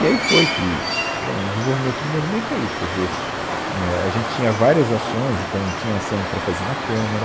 E aí foi que... Bom, o desenvolvimento do movimento é isso, quer dizer, é, a gente tinha várias ações, então tinha ação para fazer na Câmara,